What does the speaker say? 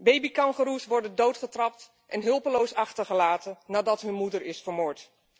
Babykangoeroes worden doodgetrapt en hulpeloos achtergelaten nadat hun moeder is vermoord.